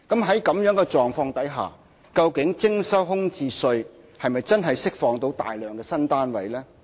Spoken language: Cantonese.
在這樣的狀況下，究竟徵收空置稅是否真的能釋放大量的新單位呢？